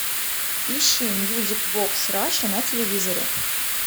ищи мьюзик бокс раша на телевизоре